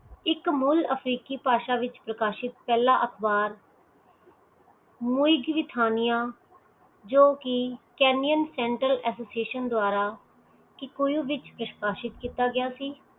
ਇਕ ਮੁੱਲ ਅਫ਼੍ਰੀਕੀ ਭਾਸ਼ਾ ਵਿਚ ਪ੍ਰਕਾਸ਼ਿਤ ਪਹਿਲਾਂ ਅਖਬਾਰ ਜੋ ਕੀ kenyan central association ਦੂਆਰਾ kikuyu ਵਿਚ ਵਿਸ਼੍ਵਾਸੀਤ ਕੀਤਾ ਗਿਆ ਸੀ